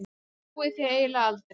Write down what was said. Ég trúi því eiginlega aldrei.